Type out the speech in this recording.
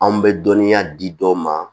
Anw bɛ dɔnniya di dɔw ma